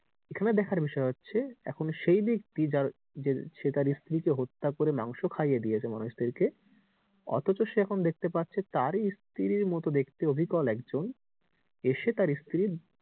এখানে দেখার বিষয় হচ্ছে এখন সেই ব্যাক্তি যার যে সে তার স্ত্রীকে হত্যা করে মাংস খাইয়ে দিয়েছে মানুষ দের কে অথচ সে এখন দেখতে পাচ্ছে তার ই স্ত্রীর মতো দেখতে অবিকল একজন এসে তার স্ত্রীর